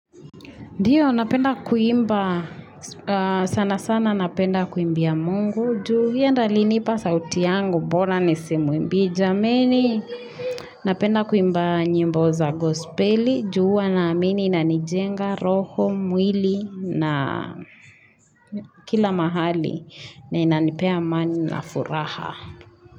Ndio, napenda kuimba, sana sana napenda kuimbia mungu, juu, yeye ndo alinipa sauti yangu, bora nisimwimbie jameni, napenda kuimba nyimbo za gospeli, ju huwa na amini na inijenga, roho, mwili, na kila mahali, na inanipea amani na furaha.